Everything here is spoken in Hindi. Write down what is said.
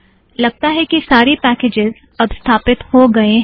लगता है कि सारे पैकेज़ अब स्थापित हो गएँ हैं